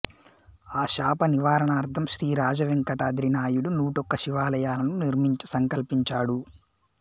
ఆ శాప నివారణార్థం శ్రీ రాజా వెంకటాద్రి నాయుడు నూటొక్క శివాలయాలను నిర్మించ సంకల్పించాడు